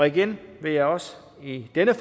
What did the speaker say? igen vil jeg også i denne